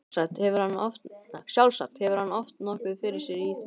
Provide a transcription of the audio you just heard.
Sjálfsagt hefur hann haft nokkuð fyrir sér í því.